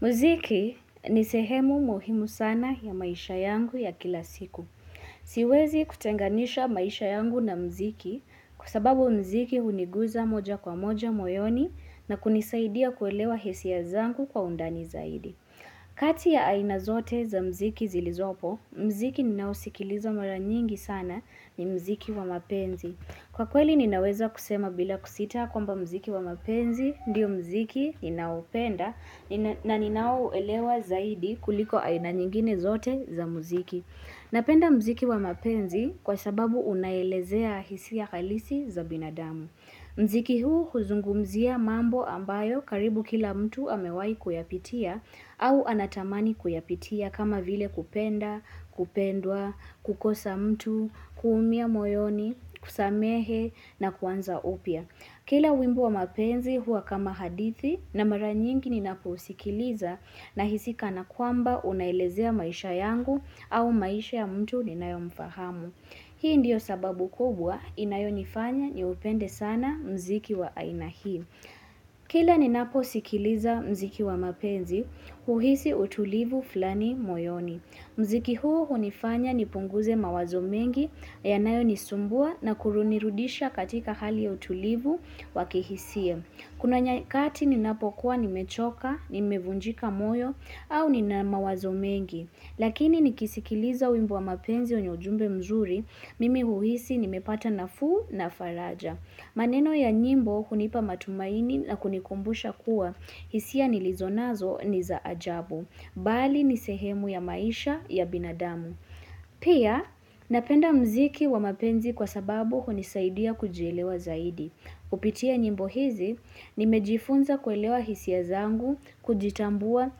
Muziki ni sehemu muhimu sana ya maisha yangu ya kila siku. Siwezi kutenganisha maisha yangu na muziki kwa sababu muziki huniguza moja kwa moja moyoni na kunisaidia kuelewa hisia zangu kwa undani zaidi. Kati ya aina zote za mziki zilizopo, mziki ninaosikiliza mara nyingi sana ni muziki wa mapenzi. Kwa kweli ninaweza kusema bila kusita kwamba muziki wa mapenzi, ndio muziki ninaopenda na ninao elewa zaidi kuliko aina nyingine zote za muziki. Napenda muziki wa mapenzi kwa sababu unaelezea hisia halisi za binadamu. Muziki huu huzungumzia mambo ambayo karibu kila mtu amewai kuyapitia au anatamani kuyapitia kama vile kupenda, kupendwa, kukosa mtu, kuumia moyoni, kusamehe na kuanza upya. Kila wimbo wa mapenzi huwa kama hadithi na mara nyingi ninaposikiliza na hisi kana kwamba unaelezea maisha yangu au maisha ya mtu ninayomfahamu. Hii ndio sababu kubwa inayonifanya ni upende sana muziki wa aina hii. Kila ninapo sikiliza muziki wa mapenzi, huhisi utulivu fulani moyoni. Mziki huo hunifanya ni punguze mawazo mengi, yanayo nisumbua na kurunirudisha katika hali ya utulivu wa kihisia. Kuna nyakati ninapokuwa nimechoka, nimevunjika moyo, au ninamawazo mengi. Lakini nikisikiliza wimbo wa mapenzi wenye ujumbe mzuri, mimi huhisi nimepata nafuu na faraja. Maneno ya nyimbo hunipa matumaini na kunikumbusha kuwa, hisia nilizonazo ni za ajabu. Bali ni sehemu ya maisha ya binadamu. Pia, napenda muziki wa mapenzi kwa sababu hunisaidia kujielewa zaidi. Kupitia nyimbo hizi, nimejifunza kuelewa hisia zangu, kujitambua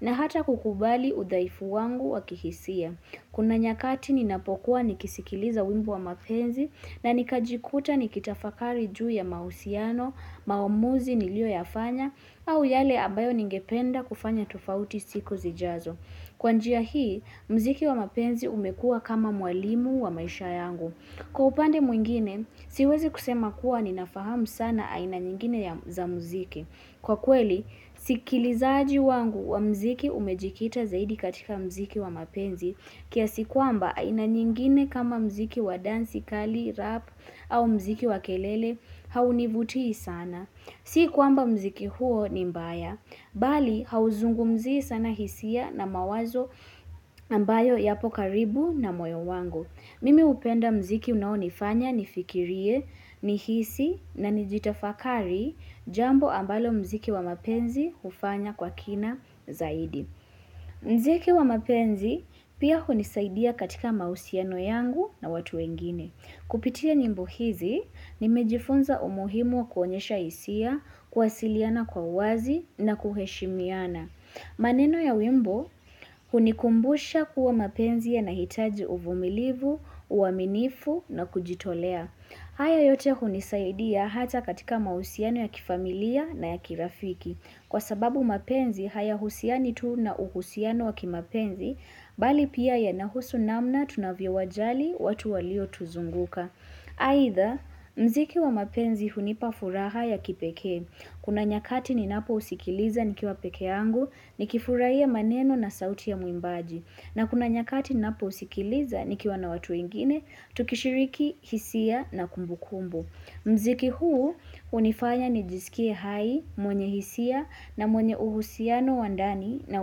na hata kukubali udhaifu wangu wa kihisia. Kuna nyakati ninapokuwa nikisikiliza wimbo wa mapenzi na nikajikuta nikitafakari juu ya mahusiano, maamuzi niliyoyafanya au yale ambayo ningependa kufanya tofauti siku zijazo. Kwa njia hii, muziki wa mapenzi umekuwa kama mwalimu wa maisha yangu. Kwa upande mwingine, siwezi kusema kuwa ninafahamu sana aina nyingine za muziki. Kwa kweli, sikilizaji wangu wa muziki umejikita zaidi katika muziki wa mapenzi kiasi kwamba aina nyingine kama muziki wa dansi, kali, rap au muziki wa kelele haunivutii sana. Si kwamba muziki huo ni mbaya, bali hauzungumzii sana hisia na mawazo ambayo yapokaribu na moyo wangu. Mimi hupenda muziki unaonifanya, nifikirie, nihisi na nijitafakari jambo ambalo mziki wa mapenzi hufanya kwa kina zaidi. Muziki wa mapenzi pia hunisaidia katika mahusiano yangu na watu wengine. Kupitia nyimbo hizi, nimejifunza umuhimu wa kuonyesha hisia, kuwasiliana kwa wazi na kuheshimiana. Maneno ya wimbo, hunikumbusha kuwa mapenzi yanahitaji uvumilivu, uaminifu na kujitolea. Haya yote hunisaidia hata katika mahusiano ya kifamilia na ya kirafiki. Kwa sababu mapenzi hayahusiani tu na uhusiano wa kimapenzi, bali pia yanahusu namna tunavyowajali watu waliotuzunguka. Aidha, muziki wa mapenzi hunipafuraha ya kipekee. Kuna nyakati ninapousikiliza nikiwa pekee yangu, nikifurahia maneno na sauti ya mwimbaji. Na kuna nyakati ninaposikiliza nikiwa na watu wengine, tukishiriki, hisia na kumbu kumbu. Muziki huu hunifanya nijisikie hai, mwenye hisia na mwenye uhusiano wa ndani na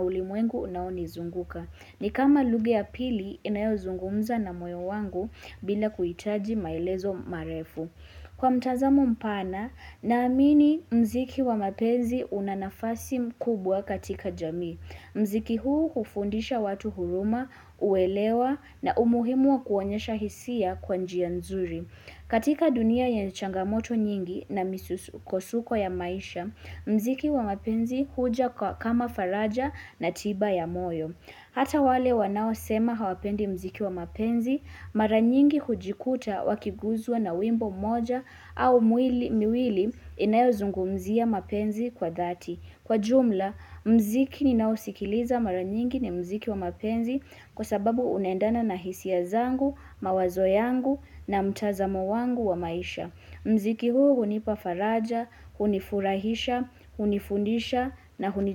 ulimwengu unaonizunguka. Ni kama lugha ya pili inayozungumza na moyo wangu bila kuhitaji maelezo marefu. Kwa mtazamo mpana, naamini muziki wa mapenzi unanafasi mkubwa katika jamii. Muziki huu hufundisha watu huruma, uelewa na umuhimu wa kuonyesha hisia kwa njia nzuri. Katika dunia yenye changamoto nyingi na misukosuko ya maisha, muziki wa mapenzi huja kama faraja na tiba ya moyo. Kwa mtazamo mpana, naamini muziki wa mapenzi unanafasi mkubwa katika jamii. Kwa jumla, muziki ninaosikiliza mara nyingi ni muziki wa mapenzi kwa sababu unaendana na hisia zangu, mawazo yangu na mtazamo wangu wa maisha. Muziki huu hunipafaraja, hunifurahisha, hunifundisha na huniju.